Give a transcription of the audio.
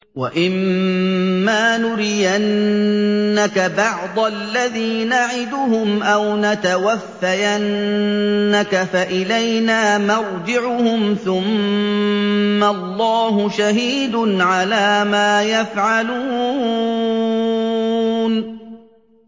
وَإِمَّا نُرِيَنَّكَ بَعْضَ الَّذِي نَعِدُهُمْ أَوْ نَتَوَفَّيَنَّكَ فَإِلَيْنَا مَرْجِعُهُمْ ثُمَّ اللَّهُ شَهِيدٌ عَلَىٰ مَا يَفْعَلُونَ